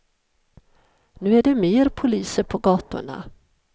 Nu är det mer poliser på gatorna.